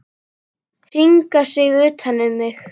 Hringa sig utan um mig.